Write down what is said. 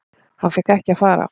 Hann fékk ekki að fara.